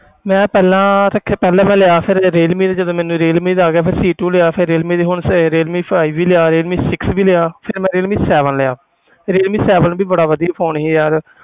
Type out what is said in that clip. ਮੈਂ ਪਹਿਲਾਂ ਦੇਖ ਪਹਿਲਾਂ ਮੈਂ ਲਿਆ ਫਿਰ ਜਦ ਰੀਅਲਮੀ ਦੇ ਜਦੋਂ ਮੈਨੂੰ ਰੀਅਲਮੀ ਦਾ ਆ ਗਿਆ ਫਿਰ c two ਲਿਆ ਫਿਰ ਰੀਅਲਮੀ ਦਾ ਹੁਣ ਫਿਰ ਰੀਅਲਮੀ five ਵੀ ਲਿਆ ਰੀਅਲਮੀ six ਵੀ ਲਿਆ ਫਿਰ ਮੈਂ ਰੀਅਲਮੀ seven ਲਿਆ ਰੀਅਲਮੀ seven ਵੀ ਬੜਾ ਵਧੀਆ phone ਸੀ ਯਾਰ।